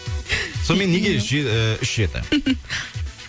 сонымен неге үш жеті